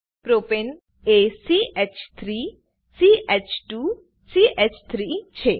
પ્રોપને એ ch3 ch2 ચ3 છે